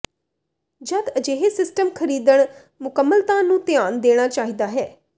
ਜਦ ਅਜਿਹੇ ਸਿਸਟਮ ਖਰੀਦਣ ਮੁਕੰਮਲਤਾ ਨੂੰ ਧਿਆਨ ਦੇਣਾ ਚਾਹੀਦਾ ਹੈ